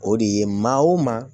O de ye maa o maa